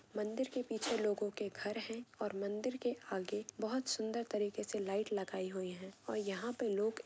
मंदिर के पीछे लोगो के घर है और मंदिर के आगे बहुत सुन्दर तरीके से लाईट लागाई हुई है और यहाँ पे लोग--